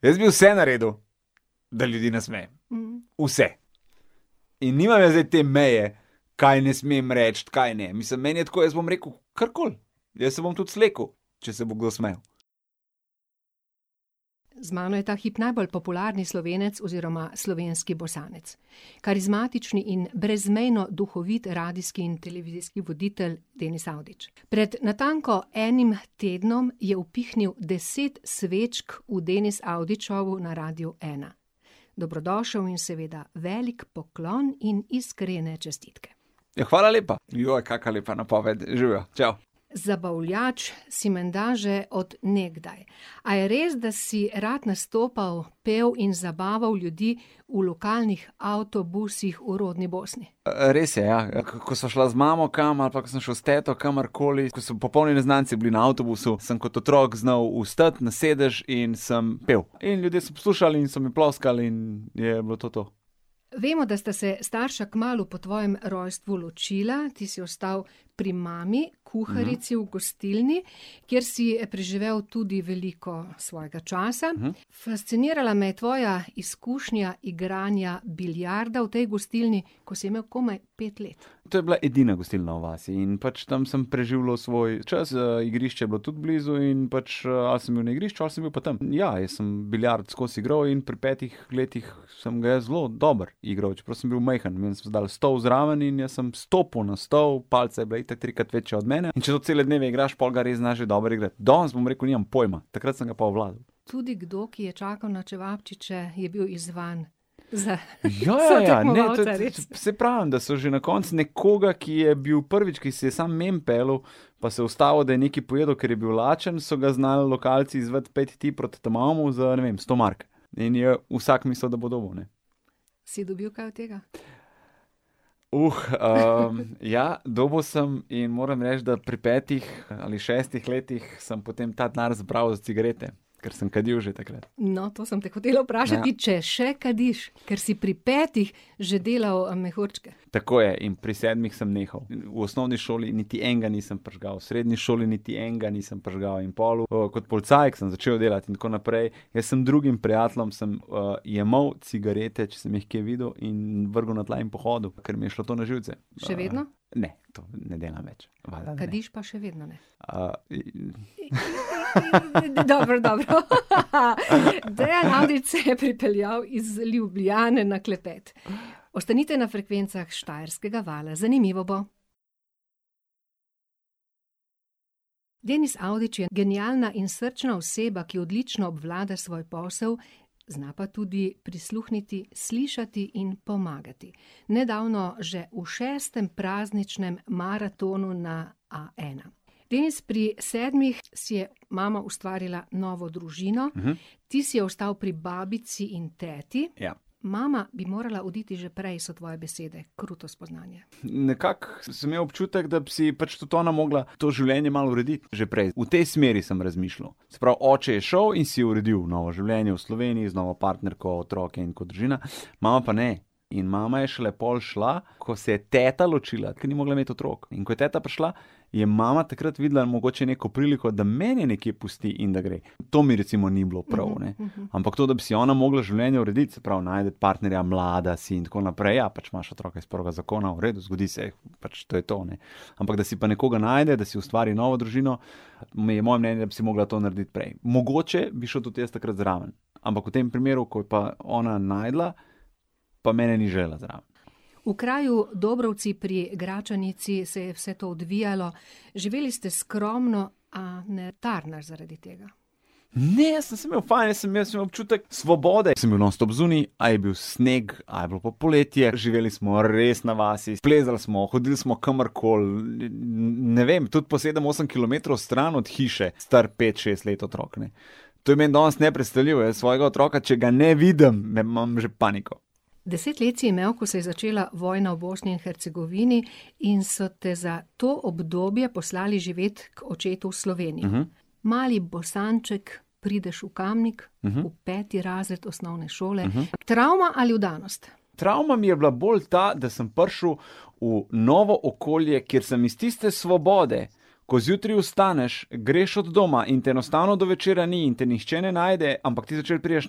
Jaz bi vse naredil, da ljudi nasmejem. Vse. In nimam jaz zdaj te meje, kaj ne smem reči, kaj ne, mislim, meni je tako, jaz bom rekel karkoli, jaz se bom tudi slekel, če se bo kdo smejal. Z mano je ta hip najbolj popularni Slovenec oziroma slovenski Bosanec. Karizmatični in brezmejno duhovit radijski in televizijski voditelj Denis Avdić. Pred natanko enim tednom je upihnil deset svečk v Denis Avdić Showu na Radiu ena. Dobrodošel in seveda velik poklon in iskrene čestitke. Ja, hvala lepa. kaka lepa napoved, živjo, čao. Zabavljač si menda že od nekdaj. A je res, da si rad nastopal, pel in zabaval ljudi v lokalnih avtobusih v rodni Bosni? res je, ja. Ko sva šla z mamo kam ali pa ko sem šel s teto kamorkoli, ko so popolni neznanci bili na avtobusu, sem kot otrok znal vstati na sedež in sem pel. In ljudje so poslušali in so mi ploskali in je bilo to to. Vemo, da sta se starša kmalu po tvojem rojstvu ločila, ti si ostal pri mami, kuharici v gostilni, kjer si preživel tudi veliko svojega časa. Fascinirala me je tvoja izkušnja igranja biljarda v tej gostilni, ko si imel komaj pet let. To je bila edina gostilna v vasi in pač tam sem preživljal svoj čas, igrišče je bilo tudi blizu in pač ali sem bil na igrišču ali sem bil pa tam. Ja, jaz sem biljard skozi igral in pri petih letih sem ga jaz zelo dobro igral, čeprav sem bil majhen, meni so dali stol zraven in jaz sem stopil na stol, palica je bila itak trikrat večja od mene, in če to cele dneve igraš, pol ga res znaš že dobro igrati. Danes, bom rekel, nimam pojma. Takrat sem ga pa obvladal. Tudi kdo, ki je čakal na čevapčiče, je bil izzvan za sotekmovalca, res? Ja, ja, res. Saj pravim, da so že na koncu nekoga, ki je bil prvič, ki se je samo mimo peljal, pa se je ustavil, da je nekaj pojedel, ker je bil lačen, so ga znali lokalci izzvati: "Pojdi ti proti ta malemu za, ne vem, sto mark." In je vsak mislil, da bo dobil, ne. Si dobil kaj od tega? ja, dobil sem in moram reči, da pri petih ali šestih letih sem potem ta denar zbral za cigarete. Ker sem kadil že takrat. No, to sem te hotela vprašati, če še kadiš. Ker si pri petih že delal mehurčke. Tako je in pri sedmih sem nehal. V osnovni šoli niti enega nisem prižgal, v srednji šoli niti enega nisem prižgal in pol kot policaj, ke sem začel delati in tako naprej, jaz sem drugim prijateljem sem, jemal cigarete, če sem jih kje videl, in vrgel na tla in pohodil, ker mi je šlo to na živce. Še vedno? Ne. Ne delam več. Kadiš pa še vedno ne? Dobro, dobro, . Dejan Avdić se je pripeljal iz Ljubljane na klepet. Ostanite na frekvencah Štajerskega vala. Zanimivo bo. Denis Avdić je genialna in srčna oseba, ki odlično obvlada svoj posel, zna pa tudi prisluhniti, slišati in pomagati, nedavno že v šestem prazničnem maratonu na A ena. Denis, pri sedmih si je mama ustvarila novo družino. Ti si ostal pri babici in teti. Ja. Mama bi morala oditi že prej, so tvoje besede. Kruto spoznanje. Nekako sem imel občutek, da bi si pač tudi ona mogla to življenje malo urediti, že prej, v tej smeri sem razmišljal. Se pravi, oče je šel in si uredil novo življenje v Sloveniji z novo partnerko, otroke in tako družina, mama pa ne. In mama je šele pol šla, ko se je teta ločila, ker ni mogla imeti otrok. In ko je ta prišla, je mama takrat videla mogoče neko priliko, da mene nekje pusti in da gre. To mi recimo ni bilo prav, ne. Ampak to, da bi si ona mogla življenje urediti, se pravi najti partnerja, mlada si, in tako naprej, pač imaš otroka iz prvega zakona, v redu, zgodi se, pač, to je to, ne. Ampak da si pa nekoga najde, da si ustvari novo družino, me je, moje mnenje, da bi si mogla to narediti prej. Mogoče bi šel tudi jaz takrat zraven. Ampak v tem primeru, ko je pa ona našla, pa mene ni želela zraven. V kraju Dobrovci pri Gračanici se je vse to odvijalo. Živeli ste skromno, a ne tarnaš zaradi tega. Ne, sem se imel fajn, sem jaz imel občutek svobode, jaz sem bil nonstop zunaj, a je bil sneg, a je bilo pa poletje, živeli smo res na vasi, splezali smo, hodili smo kamorkoli, ne vem, tudi po sedem, osem kilometrov stran od hiše, star pet, šest let otrok, ne. To je meni danes nepredstavljivo, jaz svojega otroka, če ga ne vidim, ne, imam že paniko. Deset let si imel, ko se je začela vojna v Bosni in Hercegovini in so te za to obdobje poslali živet k očetu v Slovenijo. Mali Bosanček prideš v Kamnik. V peti razred osnovne šole. Travma ali vdanost? Travma mi je bila bolj ta, da sem prišel v novo okolje, kjer sem iz tiste svobode, ko zjutraj vstaneš, greš od doma in te enostavno do večera ni in ti ne nihče ne najde, ampak ti zvečer prideš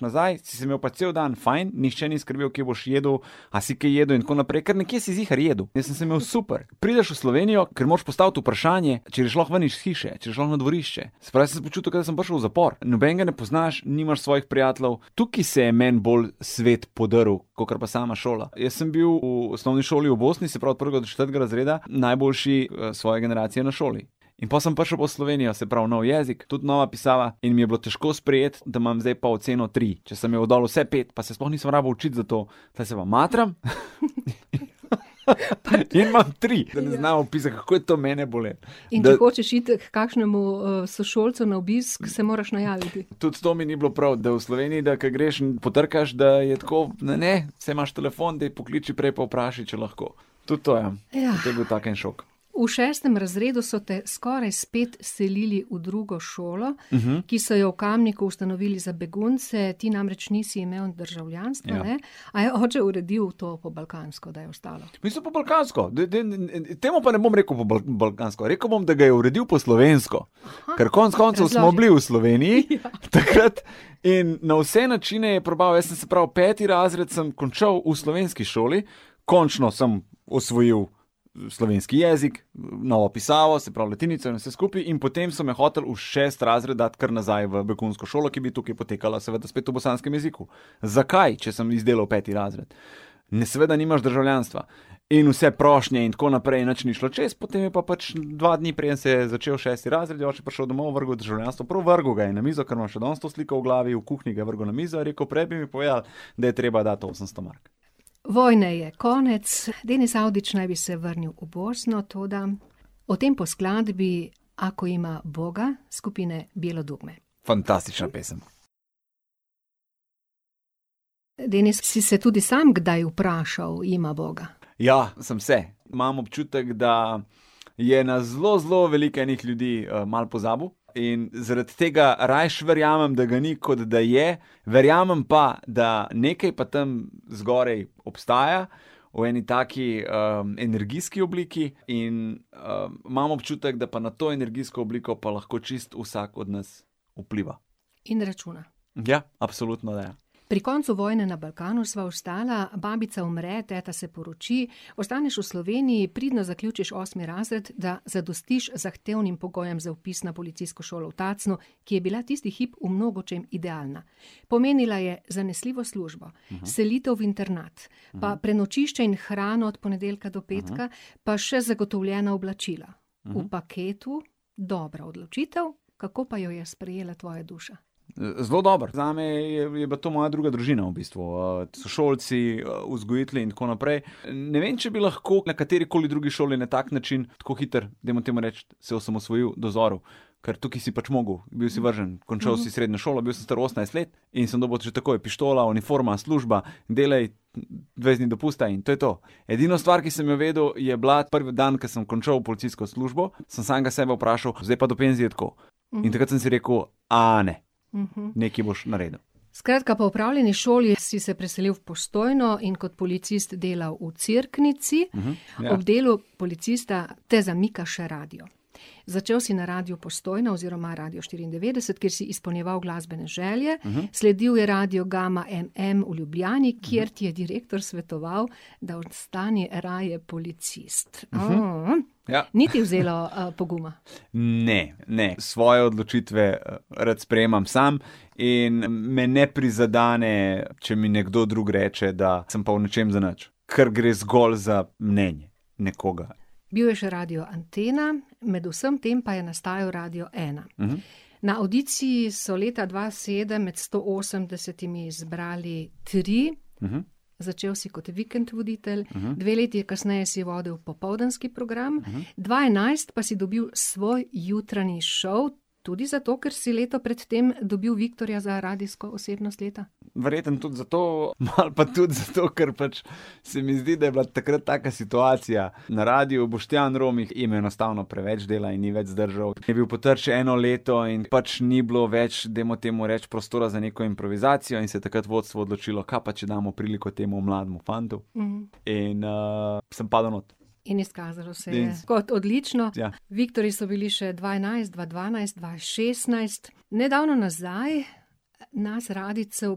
nazaj, si se imeli pa cel dan fajn, nihče ni skrbel, kje boš jedel, a si kaj jedel in tako naprej, ker nekje si ziher jedel, in jaz sem se imel super. Prideš v Slovenijo, kjer moraš postaviti vprašanje, če greš lahko ven iz hiše, če greš lahko na dvorišče. Se pravi, jaz sem se počutil, kot da sem prišel v zapor. Nobenega ne poznaš, nimaš svojih prijateljev, tukaj se je meni bolj svet podrl kakor pa sama šola. Jaz sem bil v osnovni šoli v Bosni, se pravi, od prvega do četrtega razreda, najboljši, svoje generacije na šoli. In pol sem prišel pa v Slovenijo, se pravi, nov jezik, tudi nova pisava in mi je bilo težko sprejeti, da imam zdaj pa oceno tri. Če sem imel dol vse pet, pa se sploh nisem rabil učiti za to, tule se pa matram, pa imam tri. Ne znam opisati, kako je to mene bolelo. In da hočeš iti h kakšnemu, sošolcu na obisk, se moraš najaviti. Tudi to mi ni bilo prav, da v Sloveniji, da ko greš in potrkaš, da je tako, ne, saj imaš telefon, daj pokliči prej pa vprašaj, če lahko. Tudi to, ja. To je bil tak en šok. V šestem razredu so te skoraj spet selili v drugo šolo, ki so jo v Kamniku ustanovili za begunce, ti namreč nisi imel državljanstva, a ne. Ja. A je oče uredil to po balkansko, da je ostalo. Mislim, po balkansko, temu pa ne bom rekel po po balkansko, rekel bom, da ga je uredil po slovensko. Ker konec koncev smo bili v Sloveniji takrat . takrat in na vse načine je probaval, jaz sem, se pravi, peti razred sem končal v slovenski šoli, končno sem osvojil slovenski jezik, novo pisavo, se pravi latinico in vse skupaj, in potem so me hoteli v šesti razred dati kar nazaj v begunsko šolo, ki bi tukaj potekala, seveda spet v bosanskem jeziku. Zakaj, če sem izdelal peti razred? Ne, seveda nimaš državljanstva. In vse prošnje in tako naprej in nič ni šlo čez, potem je pa pač dva dni, preden se je začel šesti razred, je oče prišel domov, je vrgel državljanstvo, prav vrgel ga je na mizo, ker imam še danes to sliko v glavi, v kuhinji ga je vrgel na mizo, in je rekel: "Prej bi mi povedal, da je treba dati osemsto mark." Vojne je konec, Denis Avdić naj bi se vrnil v Bosno, toda o tem po skladbi Ako ima Uboga skupine Bijelo dugme. Fantastična pesem. Denis, si se tudi sam kdaj vprašal: "Ima Boga?" Ja, sem se. Imam občutek, da je nas zelo zelo veliko enih ljudi, malo pozabil, in zaradi tega rajši verjamem, da ga ni, kot da je, verjamem pa, da nekaj pa tam zgoraj obstaja. V eni taki, energijski obliki in, imam občutek, da pa na to energijsko obliko pa lahko čisto vsak od nas vpliva. In računa. Ja, absolutno, ne. Pri koncu vojne na Balkanu sva ostala, babica umre, teta se poroči, ostaneš v Sloveniji, pridno zaključiš osmi razred, da zadostiš zahtevnim pogojem za vpis na policijsko šolo v Tacnu, ki je bila tisti hip v mnogočem idealna. Pomenila je zanesljivo službo, selitev v internat pa prenočišče in hrano od ponedeljka do petka pa še zagotovljena oblačila. V paketu dobra odločitev. Kako pa jo je sprejela tvoja duša? zelo dobro, zame je, je bila to moja druga družina v bistvu, sošolci, vzgojitelji in tako naprej. ne vem, če bi lahko na kateri koli drugi šoli na tak način tako hitro, dajmo temu reči, se osamosvojil, dozorel. Ker tukaj si pač mogel, bil si vržen, končal si srednjo šolo, bil si star osemnajst let in sem dobil že takoj pištolo, uniforma, služba, delaj, dvajset dni dopusta in to je to. Edina stvar, ki sem jo vedel, je bila ta dan, ko sem končal policijsko službo, sem samega sebe vprašal: "Zdaj pa do penzije tako?" In takrat sem si rekel: ne." Nekaj boš naredil. Skratka, po opravljeni šoli si se preselil v Postojno in kot policist delal v Cerknici. Ja. Ob delu policista te zamika še radio. Začel si na Radiu Postojna oziroma Radiu štiriindevetdeset, kjer si izpolnjeval glasbene želje. Sledil je Radio Gama MM v Ljubljani, kjer ti je direktor svetoval, da ostani raje policist. Ja. Ni ti vzelo, poguma. Ne, ne, svoje odločitve, rad sprejemam sam in me ne prizadene, če mi nekdo drug reče, da sem pa v nečem zanič. Ker gre zgolj za mnenje nekoga. Bil je še Radio Antena, med vsem tem pa je nastajal Radio ena. Na avdiciji so leta dva sedem med sto osemdesetimi izbrali tri. Začel si kot vikend voditelj. Dve leti kasneje si vodil popoldanski program, dva enajst pa si dobil svoj jutranji šov. Tudi zato, ker si leto pred tem dobil viktorja za radijsko osebnost leta. Verjetno tudi zato, malo pa tudi zato, ker pač se mi zdi, da je bila takrat taka situacija. Na radiu Boštjan Romih in enostavno preveč dela in ni več zdržal, je bil Potrč eno leto in pač ni bilo več, dajmo temu reči, prostora za neko improvizacijo, in se je takrat vodstvo odločilo, kaj pa če damo priliko temu mlademu fantu. In, sem padel not. In izkazalo se je kot odlično. Ja. Viktorji so bili še dva enajst, dva dvanajst, dva šestnajst. Nedavno nazaj nas radijcev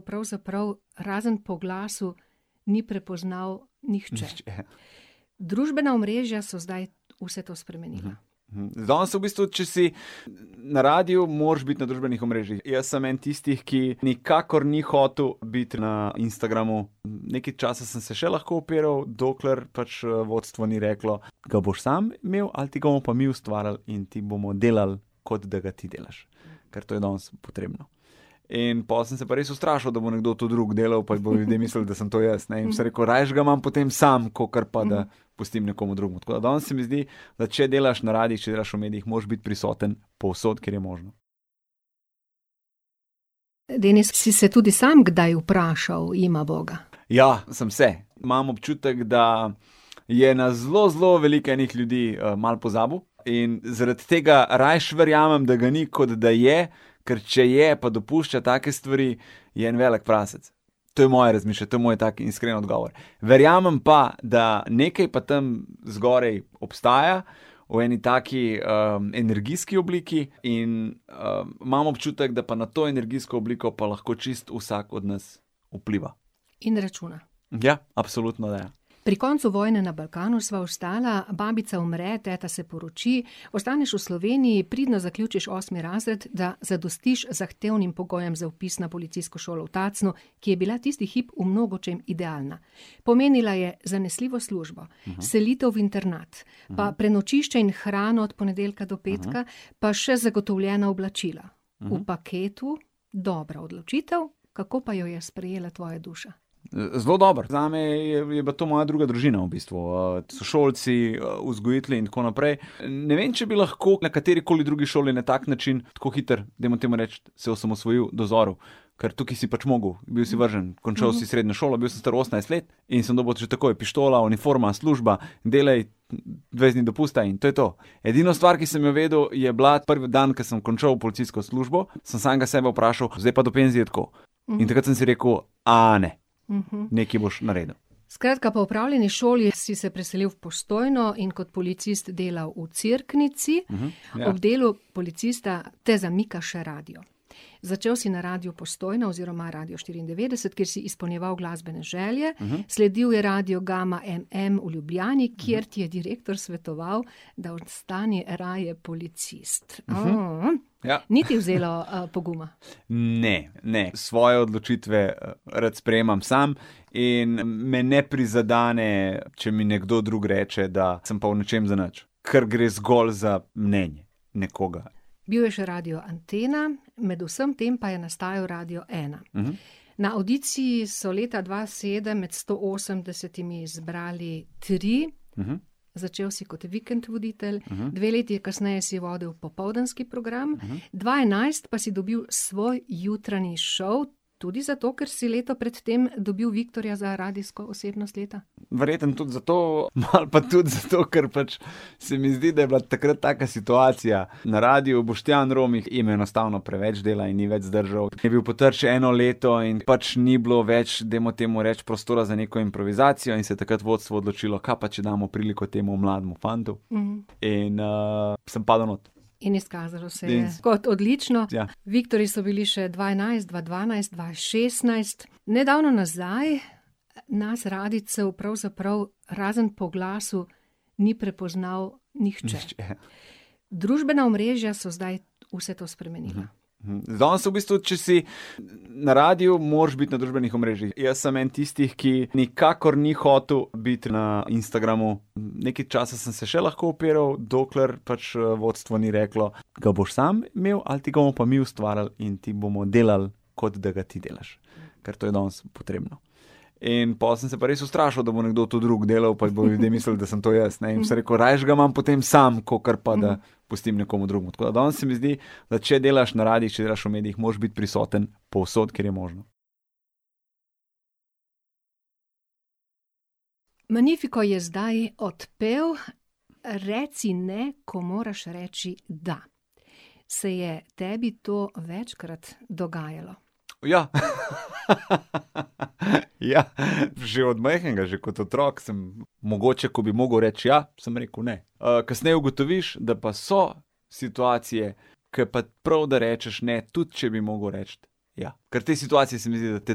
pravzaprav razen po glasu ni prepoznal nihče. Nihče. Družbena omrežja so zdaj vse to spremenila. danes v bistvu, če si na radiu, moraš biti na družbenih omrežjih. Jaz sem en tistih, ki nikakor ni hotel biti na Instagramu. Nekaj časa sem se še lahko upiral, dokler pač, vodstvo ni reklo: "Ke boš sem imel ali ti ga bomo pa mi ustvarili in ti bomo delali, kot da ga ti delaš." Ker to je danes potrebno. In pol sem se pa res ustrašil, da bo nekdo to drug delal, pa bojo ljudje mislili, da sem to jaz, ne, in sem rekel: "Rajši ga imam potem sam, kakor pa da pustim nekomu drugemu." Tako da danes se mi zdi, da če delaš na radiih, če delaš v medijih, moraš biti prisoten povsod, kjer je možno. Magnifico je zdaj odpel. Reci ne, ko moraš reči da. Se je tebi to večkrat dogajalo? Ja. Ja, že od majhnega, že kot otrok sem mogoče, ko bi mogel reči ja, sem rekel ne. kasneje ugotoviš, da pa so situacije, ke pa prav, da rečeš ne, tudi če bi mogel reči ja. Kar te situacije, se mi zdi, da te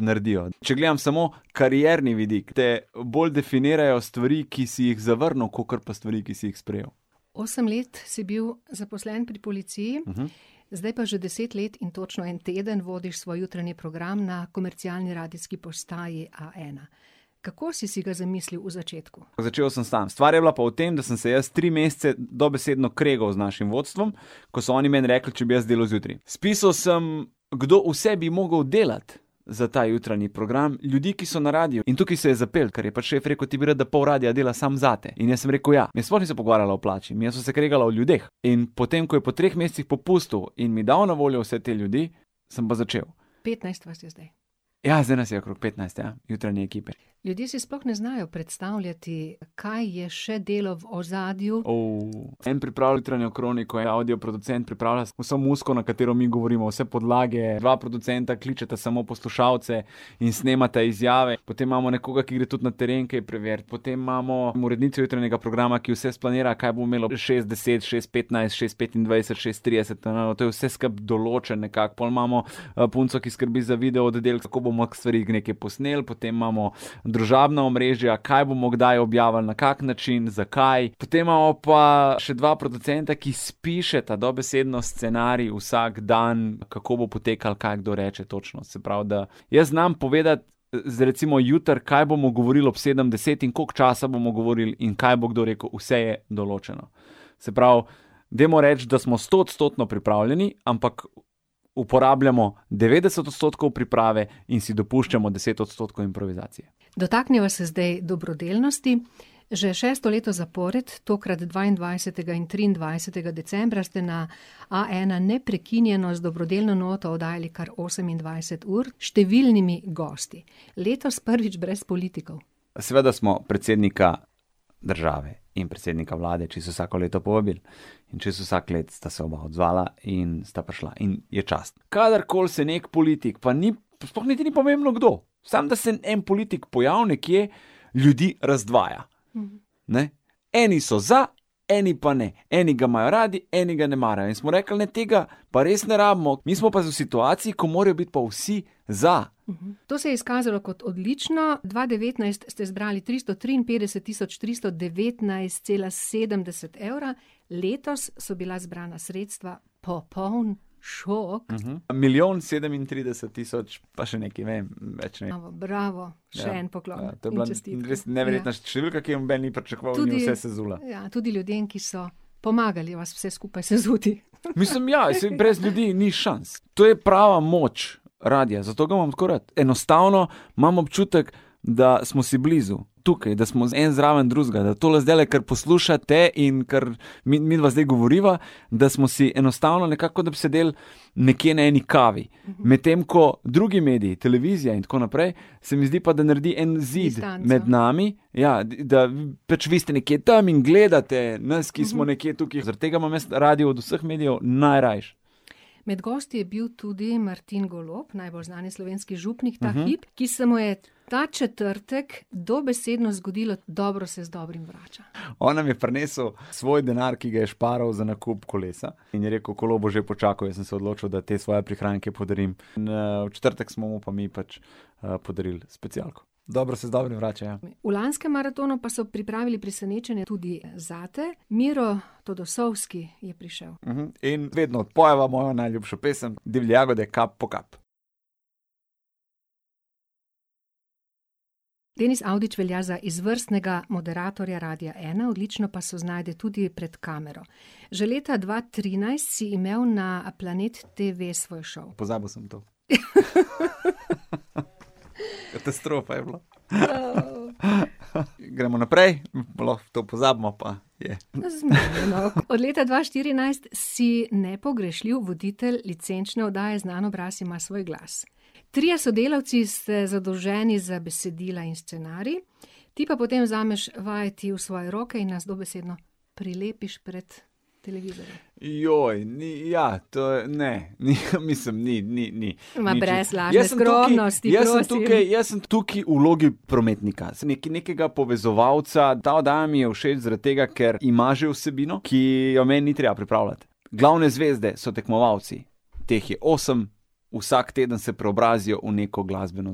naredijo. Če gledam samo karierni vidik, te bolj definirajo stvari, ki si jih zavrnil, kakor pa stvari, ki si jih sprejel. Osem let si bil zaposlen pri policiji. Zdaj pa že deset let in točno en teden vodiš svoj jutranji program na komercialni radijski postaji A ena. Kako si si ga zamislil v začetku? Začel sem sam. Stvar je bila pa v tem, da sem se jaz tri mesece dobesedno kregal z našim vodstvom, ko so oni meni rekli, če bi jaz delal zjutraj. Spisal sem, kdo vse bi mogel delati za ta jutranji program, ljudi, ki so na radiu. In tukaj se je zapelo, ker je pa šef rekel: "Ti bi rad, da pol radia dela samo zate." In jaz sem rekel: "Ja." In sploh nisva pogovarjala o plači, midva sva se kregala o ljudeh. In potem, ko je po treh mesecih popustil in mi dal na voljo vse te ljudi, sem pa začel. Petnajst vas je zdaj. Ja, zdaj nas je okrog petnajst, ja. Jutranje ekipe. Ljudje si sploh ne znajo predstavljati, kaj je še delo v ozadju. en pripravi jutranjo kroniko, avdio producent pripravlja vso muziko, na katero mi govorimo, vse podlage, dva producenta kličeta samo poslušalce in snemata izjave, potem imamo nekoga, ki gre tudi na teren kaj preverit, potem imamo jutranjega programa, ki vse splanira, kaj bomo imeli ob šest deset, šest petnajst, šest petindvajset, šest trideset, to je vse skupaj določen nekako, pol imamo, punco, ki skrbi za video oddelek, kako bomo stvari neke posneli, potem imamo družabna omrežja, kaj bomo kdaj objavili, na kak način, zakaj, potem imamo pa še dva producenta, ki spišeta dobesedno scenarij vsak dan, kako bo potekal, kaj kdo reče točno. Se pravi da, jaz znam povedati, recimo jutri, kaj bomo govorili ob sedemdeset in koliko časa bomo govorili in kaj bo kdo rekel, vse je določeno. Se pravi, dajmo reči, da smo stoodstotno pripravljeni, ampak uporabljamo devetdeset odstotkov priprave in si dopuščamo deset odstotkov improvizacije. Dotakniva se zdaj dobrodelnosti. Že šesto leto zapored, tokrat dvaindvajsetega in triindvajsetega decembra, ste na A ena neprekinjeno z dobrodelno noto oddajali kar osemindvajset ur s številnimi gosti. Letos prvič brez politikov. Seveda smo predsednika države in predsednika vlade čisto vsako leto povabili. In čisto vsako leto sta se oba odzvala in sta prišla. In je čast. Kadarkoli se neki politik, pa ni, sploh niti ni pomembno, kdo, samo da se en politik pojavi nekje, ljudi razdvaja. Ne, eni so za, eni pa ne. Eni ga imajo radi, eni ga ne marajo. In smo rekli: "Ne, tega pa res ne rabimo, mi smo pa v situaciji, ko morajo biti vsi za." To se je izkazalo kot odlično, dva devetnajst ste izbrali tristo triinpetdeset tisoč tristo devetnajst, cela sedemdeset evra, letos so bila zbrana sredstva popoln šok. Milijon sedemintrideset tisoč, pa še nekaj, vem, več ne vem. Bravo, bravo, še en poklon To je bila res neverjetna številka, in čestitke, ja. ki je noben ni pričakoval in je vse sezula. Tudi ... ja. Tudi ljudem, ki so pomagali vas vse skupaj sezuti. Mislim, ja, saj brez ljudi ni šans. To je prava moč radia, zato ga imam tako rad. Enostavno imam občutek, da smo si blizu. Tukaj, da smo en zraven drugega, da tole zdajle, kar poslušate in kar midva zdaj govoriva, da smo si enostavno nekako, kot da bi sedel nekje na eni kavi. Medtem ko drugi mediji, televizija in tako naprej, se mi zdi pa, da naredi en zid Distanco. med nami. Ja, da pač vi ste nekje tam in gledate nas, ki smo nekje tukaj, zaradi tega imam jaz radio od vseh medijev najrajši. Med gosti je bil tudi Martin Golob, najbolj znani slovenski župnik ta hip, ki se mu je ta četrtek dobesedno zgodilo dobro se z dobrim vrača. On nam je prinesel svoj denar, ki ga je šparal za nakup kolesa. In je rekel: "Kolo bo že počakalo, jaz sem se odločil, da te svoje prihranke podarim." v četrtek smo mu pa mi pač, podarili specialko. Dobro se z dobrim vrača, ja. V lanskem maratonu pa so pripravili presenečenje tudi zate, Miro Todosovski je prišel. In vedno odpojeva mojo najljubšo pesem: Divje jagode, Kap po kap. Denis Avdić velja za izvrstnega moderatorja Radia ena, odlično pa se znajde tudi pred kamero. Že leta dva trinajst si imel na Planet Tv svoj šov. Pozabil sem to. Katastrofa je bilo. Gremo naprej, pa lahko to pozabimo pa je ... Zmenjeno. Od leta dva štirinajst si nepogrešljiv voditelj licenčne oddaje Znan obraz ima svoj glas. Trije sodelavci ste zadolženi za besedila in scenarij, ti pa potem vzameš vajeti v svoje roke in nas dobesedno prilepiš pred televizijo. ni, ja. To je, ne. Ni, mislim, ni, ni, ni. brez lažne skromnosti, prosim. Jaz sem tukaj, jaz sem tukaj, jaz sem tukaj v vlogi prometnika. Sem neki, nekega povezovalca, ta oddaja mi je všeč zaradi tega, ker ima že vsebino, ki jo meni ni treba pripravljati. Glavne zvezde so tekmovalci. Teh je osem, vsak teden se preobrazijo v neko glasbeno